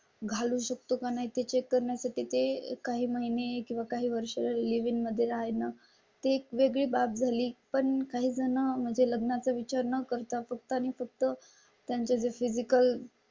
घालू शकतो का? नाही ते चेक करण्यासाठी ते काही महिने किंवा काही वर्ष लिव्हिंगमध्ये आहे ना ते एक वेगळी बाब झाली पण काही जण म्हणजे लग्ना चा विचार न करता फक्त आणि फक्त. त्यांच्या फिजिकल